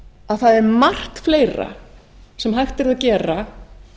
að það er margt fleira sem hægt er að gera